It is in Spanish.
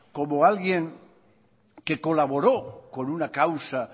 como alguien que colaboró con una causa